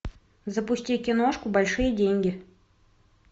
запусти киношку большие деньги